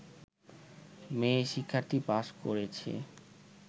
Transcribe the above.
মেয়ে শিক্ষার্থী পাস করেছে